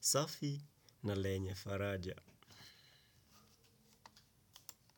safi na lenye faraja.